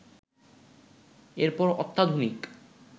এরপর অত্যাধুনিক